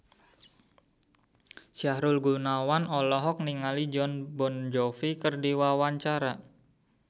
Sahrul Gunawan olohok ningali Jon Bon Jovi keur diwawancara